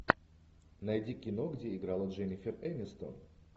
найди кино где играла дженнифер энистон